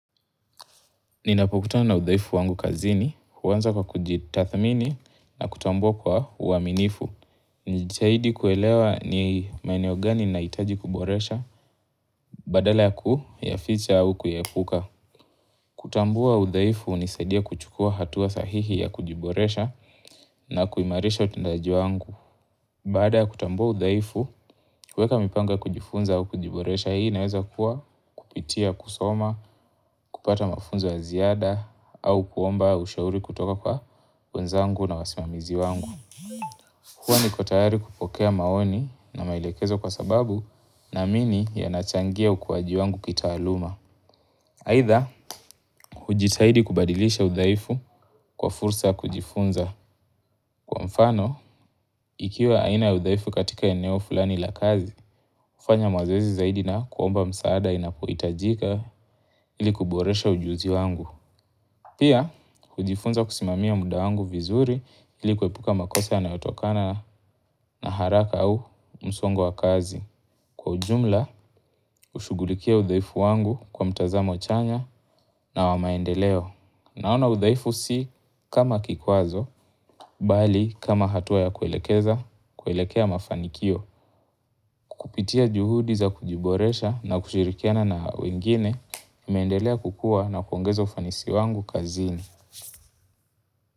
Ninapovutana na udhaifu wangu kazini, huanza kwa kujitathmini na kutambua kwa uaminifu. Ni zaidi kuelewa ni maneo gani nahitaji kuboresha, badala ya kuyaficha au kuyaepuka. Kutambua udhaifu hunisadia kuchukua hatua sahihi ya kujiboresha na kuimarisha utendaji wangu. Baada kutambua udhaifu, weka mipango kujifunza au kujiboresha, hii inaweza kuwa kupitia kusoma, kupata mafunzo ya ziada au kuomba ushauri kutoka kwa wenzangu na wasimamizi wangu. Huwa niko tayari kupokea maoni na maelekezo kwa sababu naamini yanachangia ukuaji wangu kitaaluma. Aidha, hujitahidi kubadilisha udhaifu kwa fursa ya kujifunza. Kwa mfano, ikiwa aina udhaifu katika eneo fulani la kazi, fanya mazoezi zaidi na kuomba msaada inapohitajika ili kuboresha ujuzi wangu. Pia, hujifunza kusimamia muda wangu vizuri ili kuepuka makosa yanayotokana na haraka au msongo wa kazi. Kwa ujumla, ushugulikia udhaifu wangu kwa mtazamo chanya na wamaendeleo. Naona udhaifu si kama kikwazo, bali kama hatua ya kuelekeza, kuelekea mafanikio. Kupitia juhudi za kujiboresha na kushirikiana na wengine, naendelea kukua na kuongeza ufanisi wangu kazini.